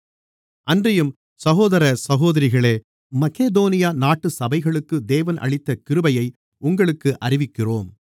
அன்றியும் சகோதர சகோதரிகளே மக்கெதோனியா நாட்டு சபைகளுக்கு தேவன் அளித்த கிருபையை உங்களுக்கு அறிவிக்கிறோம்